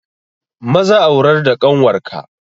Maza aurar da ƙanwar ka!